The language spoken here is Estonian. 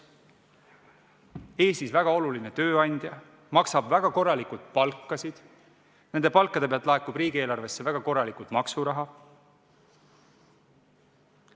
Tegemist on Eestis väga olulise tööandjaga, seal makstakse väga korralikult palkasid ja nende pealt laekub riigieelarvesse väga korralikult maksuraha.